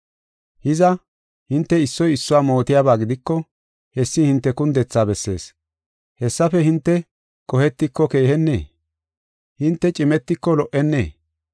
Hiza, hinte issoy issuwa mootiyaba gidiko hessi hinte kundethaa bessees. Hessafe hinte qohetiko keehennee? Hinte cimetiko lo77ennee?